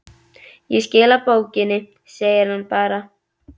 Ég skila bókinni, segir hann bara.